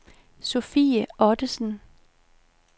Sophie Ottesen